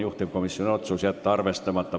Juhtivkomisjoni otsus: jätta arvestamata.